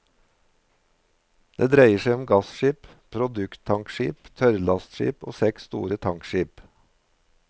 Det dreier seg om gasskip, produkttankskip, tørrlastskip og seks store tankskip.